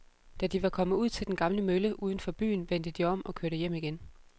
Da de var kommet ud til den gamle mølle uden for byen, vendte de om og kørte hjem igen.